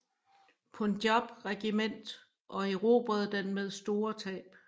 Punjab regiment og erobrede den med store tab